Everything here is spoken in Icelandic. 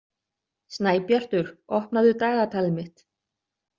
Snæbjartur, opnaðu dagatalið mitt.